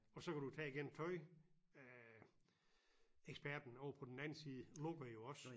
Og så kan du tage igen tøj øh eksperten ovre på den anden side lukker jo også